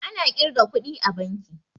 Ana ƙirga kuɗi a banki